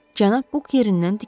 Cənab Buk yerindən dikəldi.